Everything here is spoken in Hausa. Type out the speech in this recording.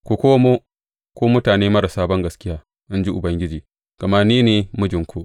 Ku komo, ku mutane marasa bangaskiya, in ji Ubangiji, gama ni ne mijinku.